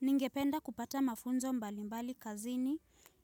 Ningependa kupata mafunzo mbali mbali kazini,